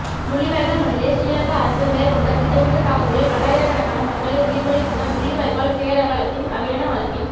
முள்ளிவாய்க்கால் மண்ணிலே சிறிலங்கா அரசு மேற்கொண்ட திட்டமிட்ட தாக்குதலில் பல்லாயிரக்கணக்கான மக்களை உயிர்பலி கொண்ட முள்ளிவாய்க்கால் பேரவலத்தின் தமிழின அழிப்பின்